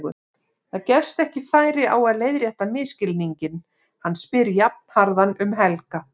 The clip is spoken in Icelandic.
Það gefst ekki færi á að leiðrétta misskilninginn, hann spyr jafnharðan um Helga.